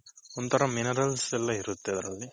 ಒಂಥರ minerals ಎಲ್ಲಾ ಇರುತ್ತೆ ಅದ್ರಲ್ಲಿ.